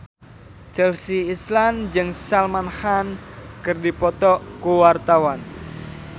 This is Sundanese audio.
Chelsea Islan jeung Salman Khan keur dipoto ku wartawan